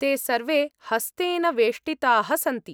ते सर्वे हस्तेन वेष्टिताः सन्ति।